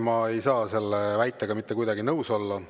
Ma ei saa selle väitega mitte kuidagi nõus olla.